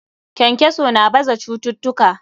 Kenkeso na baza cututtuka.